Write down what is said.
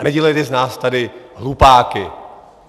A nedělejte z nás tady hlupáky!